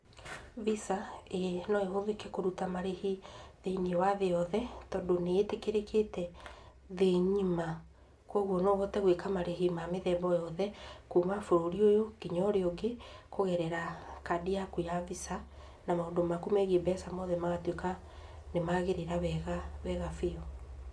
Visa, ĩĩ no ĩhũthĩke kũruta marĩhi thĩinĩ wa thĩ yothe, tondũ nĩ ĩtĩkĩrĩkĩte thĩ ng'ima, koguo no ũhote gũĩka marĩhi mamĩthemba yothe, kuuma bũrũri ũyũ, nginya ũrĩa ũngĩ, kũgerera kandi yaku ya visa, na maũndũ maku megiĩ mbeca mothe magatuĩka nĩ magĩrĩra wega, wega biũ.